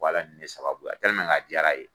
ni ne sababuya a diyara ye.